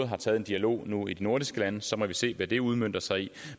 har taget en dialog nu i de nordiske lande så må vi se hvad det udmønter sig i